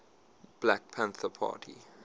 black panther party